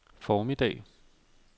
formiddag